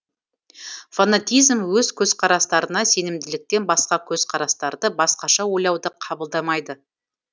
фанатизм өз көзқарастарына сенімділіктен басқа көзқарастарды басқаша ойлауды қабылдамайды